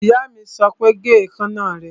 Ìyá mi sọ pé, Gé ìkaná rẹ!